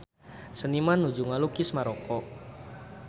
Seniman nuju ngalukis Maroko